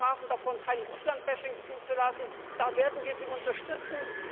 Sie sprachen davon, kein Russland Bashing zuzulassen da werden wir Sie unterstützen.